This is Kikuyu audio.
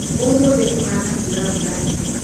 ũmũthĩ kũhana kũũra mbura nene.